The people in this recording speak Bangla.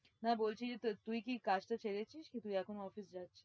হ্যাঁ, বলছি যে তুই কি কাজটা ছেড়েছিস? কি তুই এখন office যাচ্ছিস?